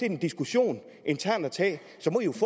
en diskussion internt at tage